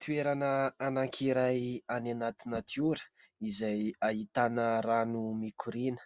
Toerana anankiray any anaty natiora izay ahitana rano mikorina,